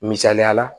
Misaliyala